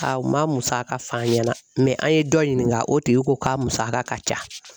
A u ma musaka f'an ɲɛna an ye dɔ ɲininka o tigi ko k'a musaka ka ca.